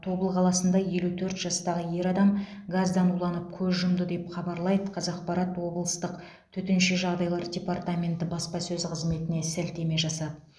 тобыл қаласында елу төрт жастағы ер адам газдан уланып көз жұмды деп хабарлайды қазақпарат облыстық төтенше жағдайлар департаменті баспасөз қызметіне сілтеме жасап